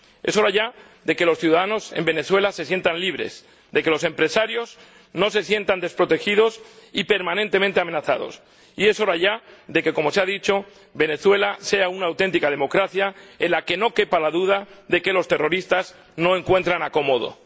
Es hora ya de que los ciudadanos en Venezuela se sientan libres, de que los empresarios no se sientan desprotegidos y permanentemente amenazados, y es hora ya de que, como se ha dicho, Venezuela sea una auténtica democracia en la que no quepa la duda de que los terroristas no encuentran acomodo.